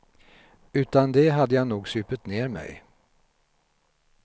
Utan det hade jag nog supit ner mej.